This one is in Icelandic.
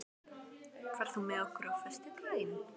Reynald, ferð þú með okkur á föstudaginn?